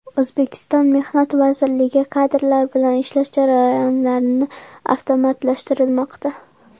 O‘zbekiston Mehnat vazirligi kadrlar bilan ishlash jarayonlarini avtomatlashtirmoqda.